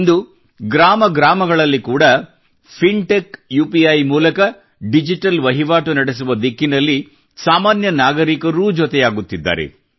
ಇಂದು ಗ್ರಾಮ ಗ್ರಾಮಗಳಲ್ಲಿ ಕೂಡಾ ಫಿಂಟೆಚೂಪಿ ಮೂಲಕ ಡಿಜಿಟಲ್ ವಹಿವಾಟು ನಡೆಸುವ ದಿಕ್ಕಿನಲ್ಲಿ ಸಾಮಾನ್ಯ ನಾಗರೀಕರೂ ಜೊತೆಯಾಗಿದ್ದಾರೆ